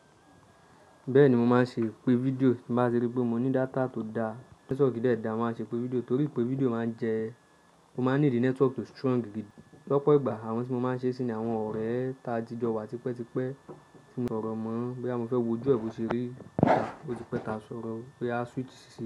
Bẹ́ẹ̀ni mo máa ń ṣe ipe fídíò tí nbá ti rí pé mo ní data tó da, nẹ́tíwọ́ọ̀kì dẹ́ẹ̀da, màá ṣe ipe fídíò torí pé fídíò máa ń jẹ́ mo máa ń nídí nẹ́tíwọ́ọ̀kì tó strong gidi. Lọ́pọ̀ ìgbà àwọn tí mo máa ń ṣe sí ni àwọn ọ̀rẹ́ ta jíjọ wa tipẹ́tipẹ́ tí mo sọ̀rọ̀ mọ̀ bí àmo fẹ́ wo ojú ẹ bí ó ṣe rí, ó ti pẹ́ ta sọ̀rọ̀, ó yá switch sí i.